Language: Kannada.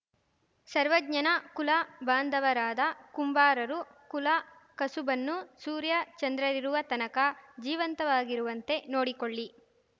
ಸರ್ವಜ್ಞನ ಕುಲ ಬಾಂಧವರಾದ ಕುಂಬಾರರು ಕುಲ ಕಸುಬನ್ನು ಸೂರ್ಯಚಂದ್ರರಿರುವ ತನಕ ಜೀವಂತವಾಗಿರುವಂತೆ ನೋಡಿಕೊಳ್ಳಿ